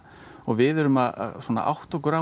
og við erum að átta okkur á